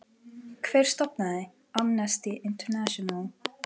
Hver stofnaði Amnesty International?